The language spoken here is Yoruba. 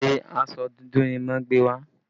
Ṣé aṣọ dúdú ni wọ́n gbé wá?